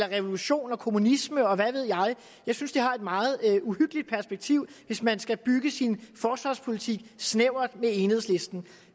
revolution kommunisme og hvad ved jeg jeg synes det har et meget uhyggeligt perspektiv hvis man skal bygge sin forsvarspolitik i snævert samarbejde med enhedslisten